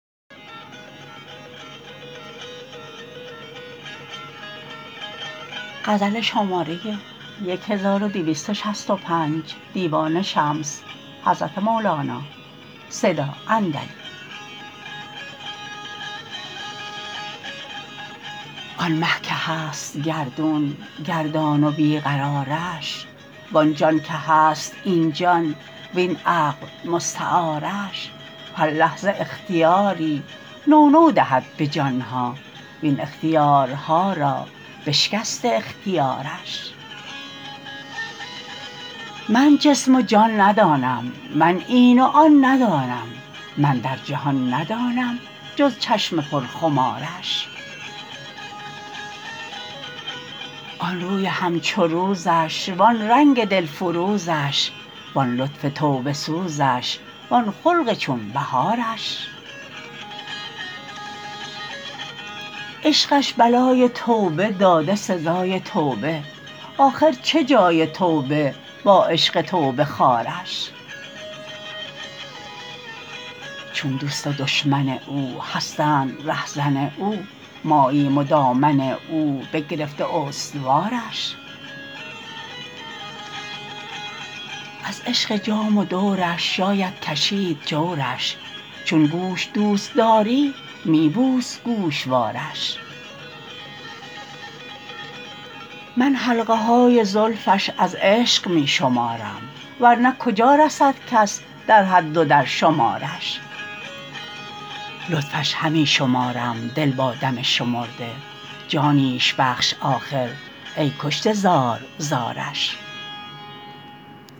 آن مه که هست گردون گردان و بی قرارش وان جان که هست این جان وین عقل مستعارش هر لحظه اختیاری نو نو دهد به جان ها وین اختیارها را بشکسته اختیارش من جسم و جان ندانم من این و آن ندانم من در جهان ندانم جز چشم پرخمارش آن روی همچو روزش وان رنگ دلفروزش وان لطف توبه سوزش وان خلق چون بهارش عشقش بلای توبه داده سزای توبه آخر چه جای توبه با عشق توبه خوارش چون دوست و دشمن او هستند رهزن او ماییم و دامن او بگرفته استوارش از عشق جام و دورش شاید کشید جورش چون گوش دوست داری می بوس گوشوارش من حلقه های زلفش از عشق می شمارم ور نه کجا رسد کس در حد و در شمارش لطفش همی شمارم دل با دم شمرده جانیش بخش آخر ای کشته زار زارش